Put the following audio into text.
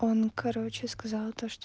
он короче сказал то что